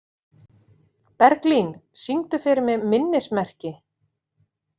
Berglín, syngdu fyrir mig „Minnismerki“.